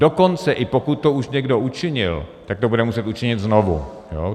Dokonce i pokud to už někdo učinil, tak to bude muset učinit znovu.